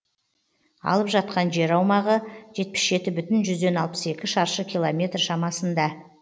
алып жатқан жер аумағы жетпіс жеті бүтін жүзден алпыс екі шаршы километр шамасында